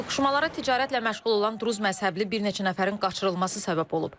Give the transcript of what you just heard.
Toqquşmalara ticarətlə məşğul olan Druzi məzhəbli bir neçə nəfərin qaçırılması səbəb olub.